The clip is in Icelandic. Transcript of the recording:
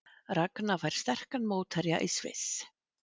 Ragna fær sterkan mótherja í Sviss